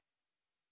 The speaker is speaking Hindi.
टाइप करें